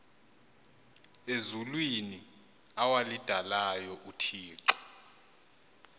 ezulwini awalidalayo uthixo